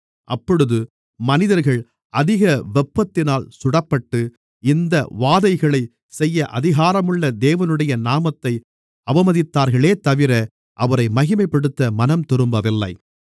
அப்பொழுது மனிதர்கள் அதிக வெப்பத்தினால் சுடப்பட்டு இந்த வாதைகளைச் செய்ய அதிகாரமுள்ள தேவனுடைய நாமத்தை அவமதித்தார்களேதவிர அவரை மகிமைப்படுத்த மனம்திரும்பவில்லை